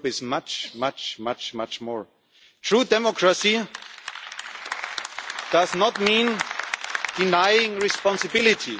Europe is much, much, much, much more. True democracy does not mean denying responsibility.